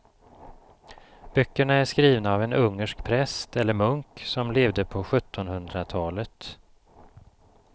Böckerna är skrivna av en ungersk präst eller munk som levde på sjuttonhundratalet.